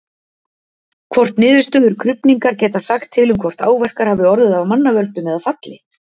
Hvort niðurstöður krufningar geti sagt til um hvort áverkar hafi orðið af mannavöldum eða falli?